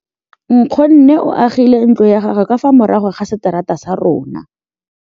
Nkgonne o agile ntlo ya gagwe ka fa morago ga seterata sa rona.